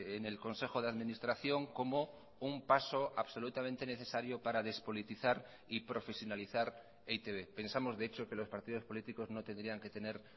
en el consejo de administración como un paso absolutamente necesario para despolitizar y profesionalizar e i te be pensamos de hecho que los partidos políticos no tendrían que tener